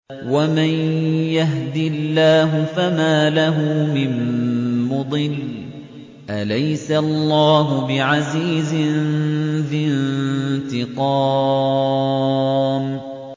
وَمَن يَهْدِ اللَّهُ فَمَا لَهُ مِن مُّضِلٍّ ۗ أَلَيْسَ اللَّهُ بِعَزِيزٍ ذِي انتِقَامٍ